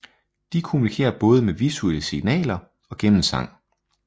De kommunikerer både med visuelle signaler og gennem sang